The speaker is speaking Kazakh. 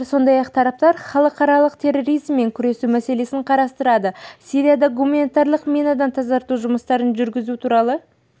отыр сондай-ақ тараптар халықаралық терроризммен күрес мәселелерін қарастырады сирияда гуманитарлық минадан тазарту жұмыстарын жүргізу туралы